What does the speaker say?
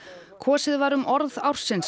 kosið var um orð ársins á